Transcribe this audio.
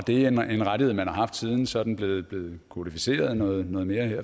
det er en rettighed man har haft siden og så er den blevet blevet kodificeret noget mere